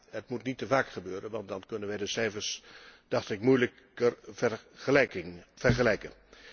Het moet niet te vaak gebeuren, want dan kunnen wij de cijfers, dacht ik, moeilijker vergelijken.